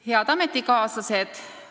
Head ametikaaslased!